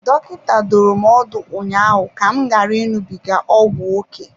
Dọkịta dụrụ m ọdụ ụnyaahụ ka m ghara ịṅụbiga ọgwụ ókè.